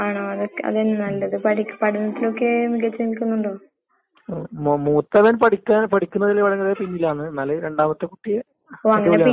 ഞാന് ഏ എനക്കിപ്പോ കുട്ടികലെല്ലാം ഇള്ളത് കൊണ്ട് ഏ ഗൂ ഏ കോളേജിലെല്ലാം പോവാന്ള്ള ബുദ്ധിമുട്ടാന്ന്. അത്കൊണ്ട് ഡിസ്റ്റന്റായിട്ട് പഠിക്കാനാന്ന് ഞാനാഗ്രഹിക്കുന്നെ.